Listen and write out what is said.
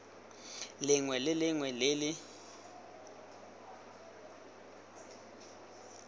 lengwe le lengwe le le